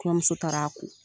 Kɔɲɔmuso taara' ko